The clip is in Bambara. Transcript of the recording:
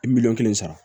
Miliyɔn kelen sara